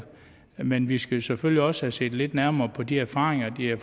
men vi skal selvfølgelig også have set lidt nærmere på de erfaringer de har